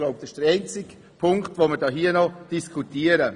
Ich glaube, das ist der einzige Punkt, den wir hier noch diskutieren.